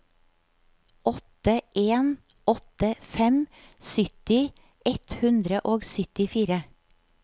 åtte en åtte fem sytti ett hundre og syttifire